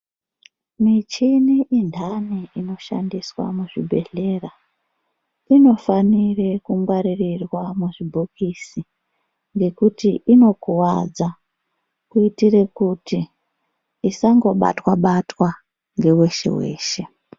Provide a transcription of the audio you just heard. Michini inhani inoshandiswa muzvibhehlera inofanire kungwaririrwa muzvibhokisi ngekuti inokuwadza kuitire kuti isangobatwa ngeweshe-weshe.